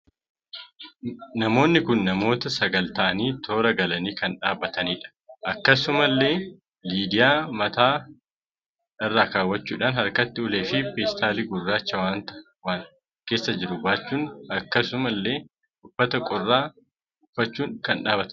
Namoonni kun namoota sagal taa'anii toora galanii kan dhaabatanidha akkasuma illee lidiyaa mata irraa kawachudhan harkatti ulee fi pestali gurracha waanta waan keessaa jiru baachun akkasuma illee uffataa qorraka ufachuun kan dhaabbatanidha